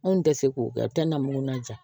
Anw tɛ se k'o kɛ namunan ja